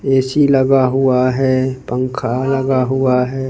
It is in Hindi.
ए_सी लगा हुआ है पंखा लगा हुआ है।